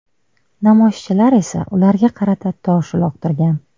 Namoyishchilar esa ularga qarata tosh uloqtirgan.